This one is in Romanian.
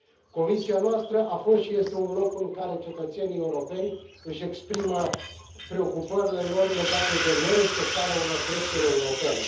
Comisia noastră a fost și este un loc în care cetățenii europeni își exprimă preocupările lor legate de nerespectarea unor drepturi europene.